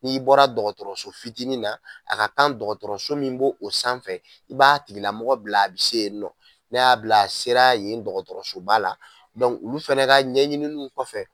N'i bɔra dɔgɔtɔrɔso fitinin na a ka kan dɔgɔtɔrɔso min bɔ o sanfɛ i b'a tigilamɔgɔ bila a bɛ se yen nɔ, ne y'a bila a sera yen dɔgɔtɔrɔsoba la olu fɛnɛ ka ɲɛɲiniliw kɔfɛ.